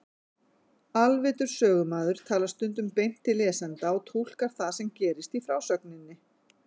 Alvitur sögumaður talar stundum beint til lesenda og túlkar það sem gerist í frásögninni.